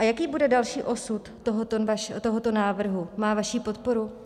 A jaký bude další osud tohoto návrhu, má vaší podporu?